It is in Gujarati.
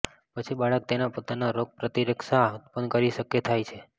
પછી બાળક તેના પોતાના રોગપ્રતિરક્ષા ઉત્પન્ન કરી શકે શરૂ થાય છે